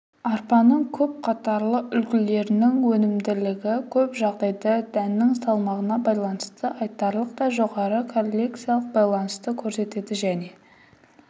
арпаның көп қатарлы үлгілерінің өнімділігі көп жағдайда дәннің салмағына байланысты айтарлықтай жоғары корреляциялық байланысты көрсетті және